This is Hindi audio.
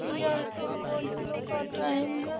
यह एक गोधलो का टाइम है।